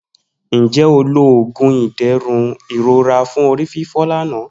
Nje o lo oogun iderun irora fun orififo lana